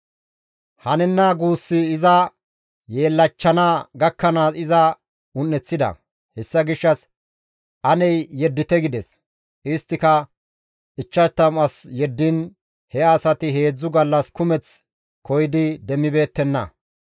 Hanenna guussi iza yeellachchana gakkanaas iza un7eththida; hessa gishshas, «Ane yeddite» gides; isttika 50 as yeddiin he asati heedzdzu gallas kumeth koyidi demmibeettenna.